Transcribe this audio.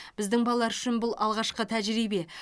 біздің балалар үшін бұл алғашқы тәжірибе